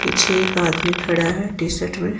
पीछे एक आदमी खड़ा है टी शर्ट में।